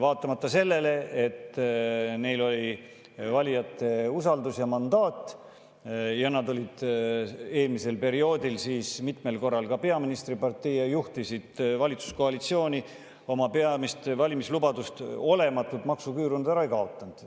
Vaatamata sellele, et neil oli valijate usaldus ja mandaat ja nad olid eelmisel perioodil mitmel korral ka peaministripartei ja juhtisid valitsuskoalitsiooni, oma peamist valimislubadust ja olematut maksuküüru nad ära ei kaotanud.